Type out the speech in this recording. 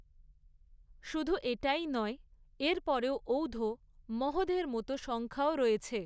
শুধু এটাই নয়, এরপরেও ঔধ, মহোধের মত সংখ্যাও রয়েছে।